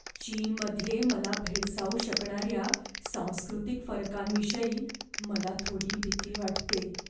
चीनमध्ये मला भेडसावू शकणाऱ्या सांस्कृतिक फरकांविषयी मला थोडी भीती वाटते.